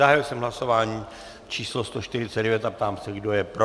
Zahájil jsem hlasování číslo 149 a ptám se, kdo je pro.